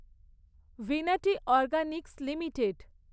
Vinati organics limited